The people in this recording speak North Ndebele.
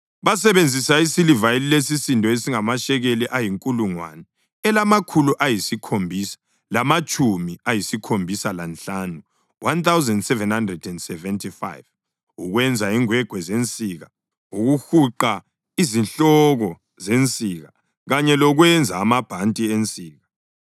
Basebenzisa isiliva esilesisindo esingamashekeli ayinkulungwane elamakhulu ayisikhombisa lamatshumi ayisikhombisa lanhlanu (1,775) ukwenza ingwegwe zensika, ukuhuqa izihloko zensika, kanye lokwenza amabhanti ensika.